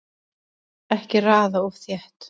Ekki raða of þétt